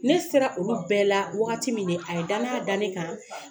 Ne sera olu bɛɛ la wagati min de a ye danaya da ne kan